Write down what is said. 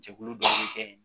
Jɛkulu dɔ bɛ kɛ yen